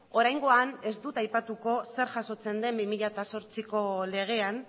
oraingoan ez dut aipatuko zer jasotzen den bi mila zortziko legean